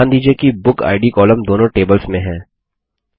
ध्यान दीजिये कि बुकिड कॉलम दोनों टेबल्स में हैं